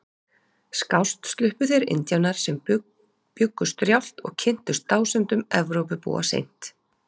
Skást sluppu þeir Indíánar sem bjuggu strjált og kynntust dásemdum Evrópubúa seint.